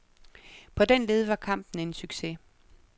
På den led var kampen en succes.